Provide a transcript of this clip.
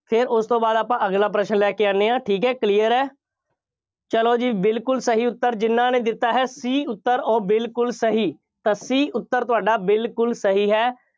ਫੇਰ ਉਸ ਤੋਂ ਬਾਅਦ ਆਪਾਂ ਅਗਲਾ ਪ੍ਰਸ਼ਨ ਲੈ ਕੇ ਆਉਂਦੇ ਹਾਂ, ਠੀਕ ਹੈ clear ਹੈ। ਚੱਲੋ ਜੀ ਬਿਲਕੁੱਲ ਸਹੀ ਉੱਤਰ ਜਿੰਨ੍ਹਾ ਨੇ ਦਿੱਤਾ ਹੈ C ਉੱਤਰ, ਉਹ ਬਿਲਕੁੱਲ ਸਹੀ। ਤਾਂ C ਉੱਤਰ ਤੁਹਾਡਾ ਬਿਲਕੁੱਲ ਸਹੀ ਹੈ।